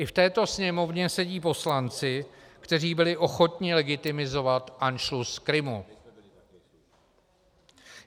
I v této Sněmovně sedí poslanci, kteří byli ochotni legitimizovat anšlus Krymu.